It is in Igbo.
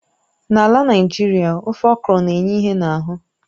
N'ala Naịjirịa, ofe okro na-enye ìhè n'ahụ